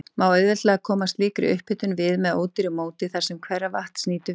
Má auðveldlega koma slíkri upphitun við með ódýru móti þar, sem hveravatns nýtur við.